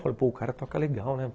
Falei, pô, o cara toca legal, né?